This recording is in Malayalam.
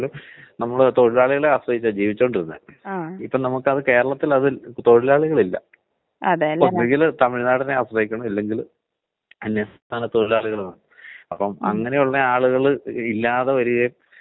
ങാ, അത് പക്ഷെ നമ്മുടെ നാടൻ ഭാഷയിലെ ആൾക്കാര് പൊക വലിക്കുമ്പ ക്യാൻസറും, അത്പോലെ തന്നെ കുടിക്കുന്ന ആൾക്കാർക്ക് സിറോസിസും എന്നുള്ള ഒരു ധാരണയിൽ അല്ലെങ്കില് മഞ്ഞപിത്തം എന്നൊക്കെയുള്ള ഒരു ധാരണയിലാണ് ആൾക്കാര് പൊക്കോണ്ടിരിക്കണത്.